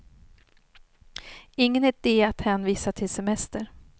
Ingen ide att hänvisa till semester.